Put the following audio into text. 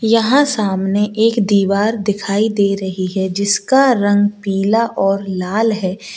यहां सामने एक दीवार दिखाई दे रही है जिसका रंग पीला और लाल है।